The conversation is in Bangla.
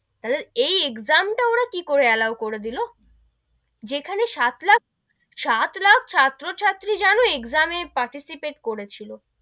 তাহলে এই exam টা ওরা কি করে allow করে দিলো যেখানে সাত লাখ সাত লাখ ছাত্র ছাত্রী জানো exam এ participate করেছিল,